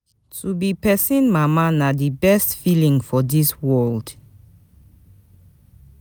To be pesin mama na di best feeling for dis world.